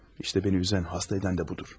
İşte beni üzen, hasta eden de budur.